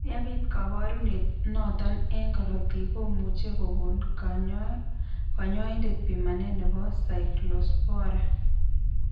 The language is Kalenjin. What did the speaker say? Yebit kaborunet notok eng' korotik komuchi kokon kanyoindet pimanet nebo Cyclospora.